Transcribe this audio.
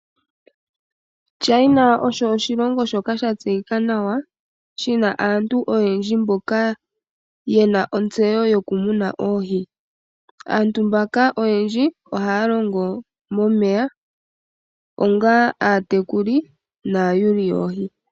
China osho oshilongo shoka sha tseyika nawa, shina aantu oyendji mboka yena ontseyo yoku muna oohi. Aantu mboka oyendji, ohaa longo momeya, onga aatekuli naayuli yoohi.